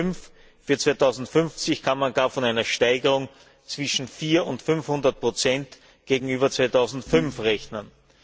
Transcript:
2005. Für 2050 kann man gar mit einer Steigerung zwischen 400 und 500 gegenüber 2005 rechnen.